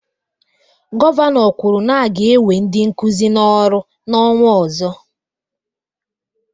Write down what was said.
Gọvanọ kwuru na-aga ewe ndị Nkụzi n'ọrụ n'ọnwa ozo